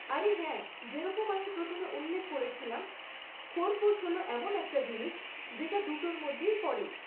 আরে হ্যাঁ, যেরকম আমি প্রথমে উল্লেখ করেছিলাম, খোরপোশ হল এমন একটা জিনিস, যেটা দুটোর মধ্যেই পড়ে।